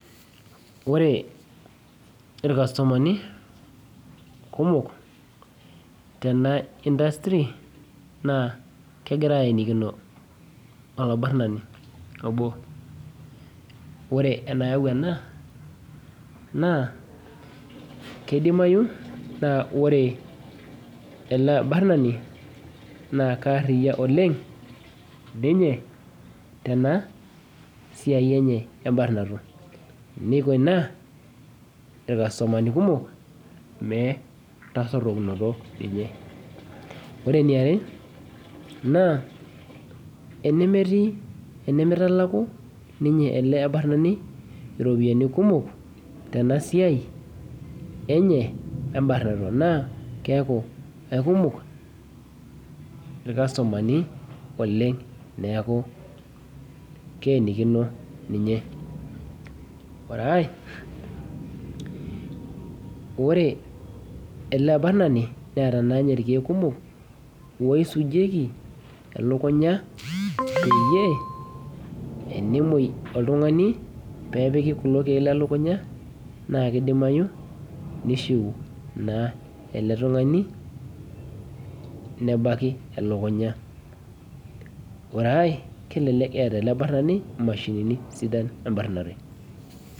Ore irkastomani kumok tena industry na kegira aenikino olaenani na kedimayu na kidimayu na ore ele abarani na keariyo niko ina irkastomani kumok meatsotumoto nkulie naa emetii ,enimitalaku ele abatani iropiyiani kumok tenasiai na kekumok irkastomani oleng neaku keenikini ninye ore aai oee elaabanani neeta rkiek kumok oisujieki elukunya peyie enemoi oltungani pepili kulo kiek lrlunga na kifaa pishiul nilaki elukunya ore aaai kelelek eeta ele abrtani mashinini sidan eramatare.